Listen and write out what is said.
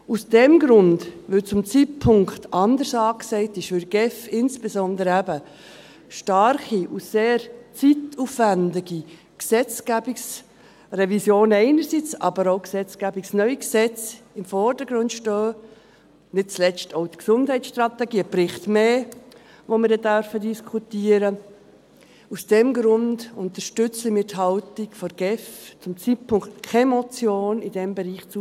Aus diesem Grund, weil zurzeit anderes angesagt ist, weil in der GEF insbesondere eben starke und sehr zeitaufwendige Gesetzgebungsrevisionen einerseits, aber andererseits auch neue Gesetzgebungen im Vordergrund stehen, nicht zuletzt auch die Gesundheitsstrategie – ein Bericht mehr, den wir dann diskutieren dürfen –, unterstützen wir die Haltung der GEF, zurzeit keine Motion in diesem Bereich zuzulassen.